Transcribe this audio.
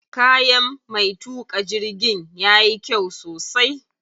Kayan me tuƙa jirgin yayi kyau sosai.